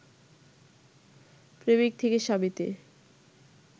প্রেমিক থেকে স্বামীতে